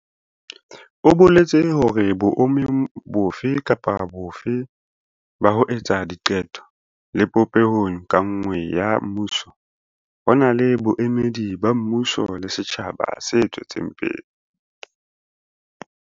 O boletse hore boemong bofe kapa bofe ba ho etsa diqeto le popehong ka nngwe ya mmuso, ho na le boemedi ba mmuso le setjhaba se tswetseng pele.